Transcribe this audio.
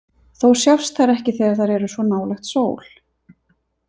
Þó sjást þær ekki þegar þær eru svo nálægt sól.